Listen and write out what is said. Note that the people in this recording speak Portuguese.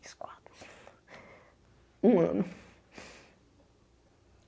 Três, quatro... Um ano.